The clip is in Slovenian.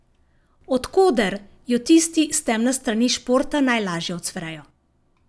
Od koder jo tisti s temne strani športa najlažje ucvrejo.